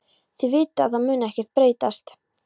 Þið vitið að það mun ekkert breytast.